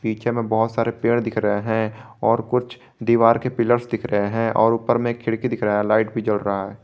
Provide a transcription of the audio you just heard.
पीछे में बहुत सारे पेड़ दिख रहे हैं और कुछ दीवार के पिलर्स दिख रहे हैं और ऊपर में एक खिड़की दिख रहा है लाइट भी जल रहा है।